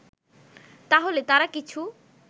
তাহলে তারা কিছু